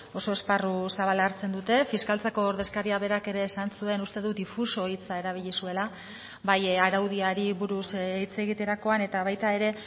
oso esparru zabala hartzen dute fiskaltzako ordezkaria berak ere esan zuen uste dut difuso hitza erabili zuela bai araudiari buruz hitz egiterakoan eta baita ere